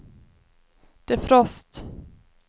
defrost